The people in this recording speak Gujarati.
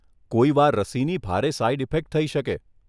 કોઈવાર રસીની ભારે સાઈડ ઇફેક્ટ થઈ શકે.